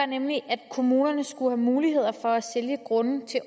nemlig at kommunerne skulle have mulighed for at sælge grunde til